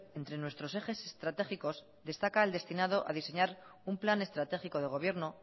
entre nuestros ejes estratégicos destaca el destinado a diseñar un plan estratégico de gobierno